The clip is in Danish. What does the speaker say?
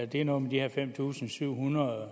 det er noget med de her fem tusind syv hundrede